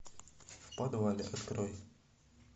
в подвале открой